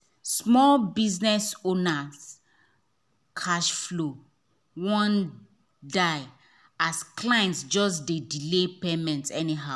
small biz owner cash flow wan die as clients just dey delay payment anyhow.